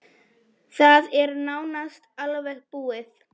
Það er nánast alveg búið.